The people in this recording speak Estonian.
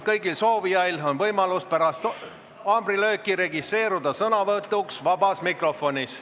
Kõigil soovijail on võimalus pärast haamrilööki registreeruda sõnavõtuks vabas mikrofonis.